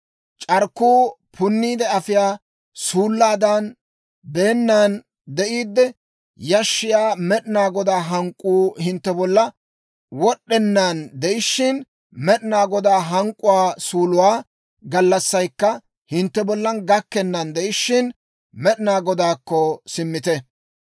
C'arkkuu punniide afiyaa suullaadan beennan de'iidde, yashshiyaa Med'inaa Godaa hank'k'uu hintte bolla wod'd'ennaan de'ishshin, Med'inaa Godaa hank'k'uwaa suuluwaa gallassaykka hintte bollan gakkennan de'ishshin, med'inaa Godaakko simmite.